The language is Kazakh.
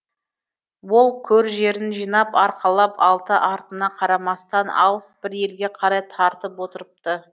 ол көр жерін жинап арқалап артына қарамастан алыс бір елге қарай тартып отырыпты